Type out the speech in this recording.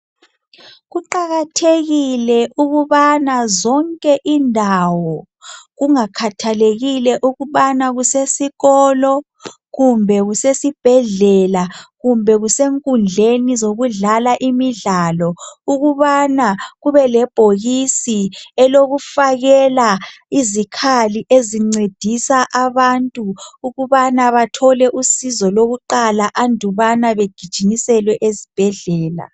Kuqakathekile ukubana zonke indawo kungakhathalekile ukubana kusesikolo kumbe kusesibhedlela kumbe kusenkundleni zokudlala imidlalo ukubana kubelebhokisi elokufakela izikhali ezincedisa abantu ukubana bathole usizo lokuqala andubana begijiniselwe ezibhedlela.